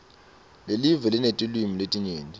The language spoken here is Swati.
lelive linetilwimi letinyenti